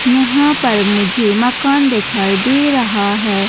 यहाँ पर मुझे मकान दिखाई दे रहा है।